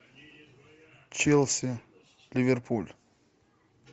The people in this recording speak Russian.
челси ливерпуль